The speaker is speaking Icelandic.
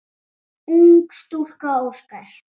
Ung stúlka óskar.